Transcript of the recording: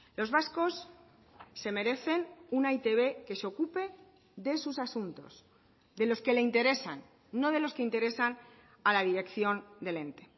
los vascos se merecen una e i te be que se ocupe de sus asuntos de los que le interesan no de los que interesan a la dirección del ente